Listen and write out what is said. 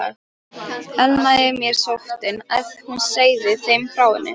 Elnaði mér sóttin, ef hún segði þeim frá henni?